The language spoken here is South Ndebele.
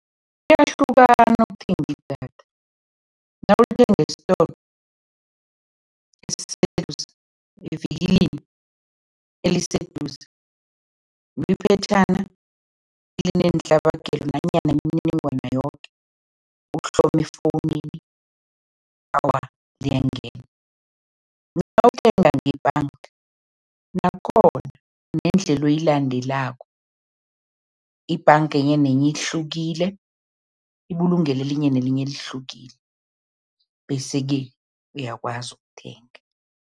Kuyahlukana ukuthenga idatha. Nawulithenga esitolo, evikilini eliseduze liphetjhana elineentlabagelo nanyana imininingwana yoke, uhlome efowunini, awa liyangena. Nawuthenga ngebhanga, nakhona kunendlela oyilandelako, ibhanga enye nenye ihlukile, ibulungelo elinye nelinye lihlukile bese-ke uyakwazi ukuthenga.